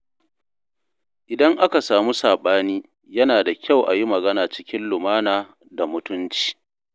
Idan aka samu saɓani, yana da kyau a yi magana cikin lumana da mutunci.